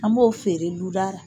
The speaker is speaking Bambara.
An b'o feere du da la.